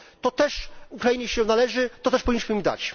To też Ukrainie się należy, to też powinniśmy im dać.